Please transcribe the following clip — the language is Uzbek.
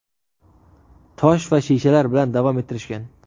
tosh va shishalar bilan davom ettirishgan.